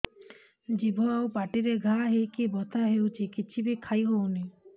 ଜିଭ ଆଉ ପାଟିରେ ଘା ହେଇକି ବଥା ହେଉଛି କିଛି ବି ଖାଇହଉନି